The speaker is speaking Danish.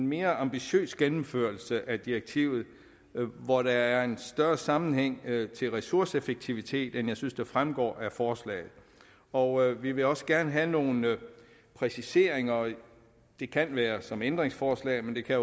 mere ambitiøs gennemførelse af direktivet hvor der er en større sammenhæng med ressourceeffektivitet end jeg synes fremgår af forslaget og vi vil også gerne have nogle præciseringer det kan være som ændringsforslag men det kan